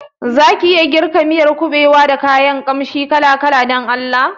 Zaki iya girka miyar kuɓewa da kayan kanshi kala-kala Dan Allah?